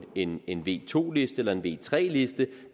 en en v2 liste eller v3 liste og